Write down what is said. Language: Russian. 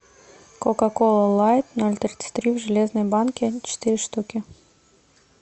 кока кола лайт ноль тридцать три в железной банке четыре штуки